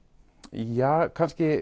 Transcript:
ja kannski